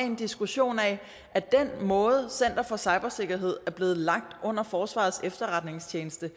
en diskussion af den måde som center for cybersikkerhed er blevet lagt ind under forsvarets efterretningstjeneste